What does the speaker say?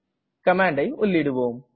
கமாண்டை உள்ளிடுவோம்